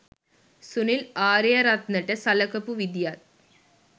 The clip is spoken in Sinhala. සුනිල් ආරියරත්නට සලකපු විදියත්